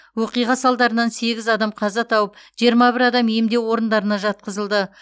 оқиға салдарынан сегіз адам қаза тауып жиырма бір адам емдеу орындарына жатқызылды